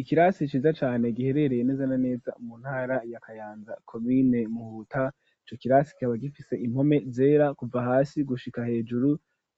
ikirasi ciza cane giherereye neza na neza mu ntara ya kayanza komine muhuta ico kirasi kikaba gifise impome zera kuva hasi gushika hejuru